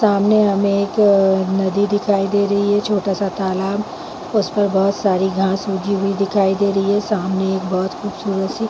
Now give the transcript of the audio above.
सामने हमें एक क नदी दिखाई दे रही छोटा सा तालाब उसपे बोहत सारी घास उगी हुई दिखाई दे री सामने एक बोहत खूबसूरत सी--